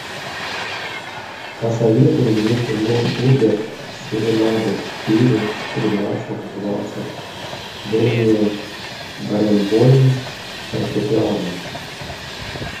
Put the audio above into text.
посоветуй мне кино шуберт серенады четыре тринадцать двадцать дэниэль баренбойм фортепиано